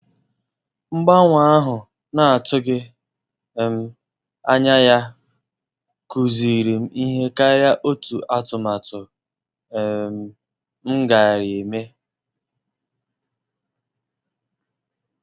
mgbanwe ahụ na-atughi um anya ya kụziri m ihe karia otu atụmatụ um m gara eme